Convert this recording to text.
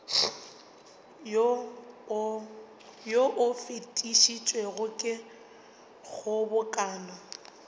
wo o fetišitšwego ke kgobokano